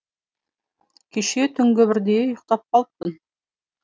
кеше түнгі бірде ұйықтап қалыппын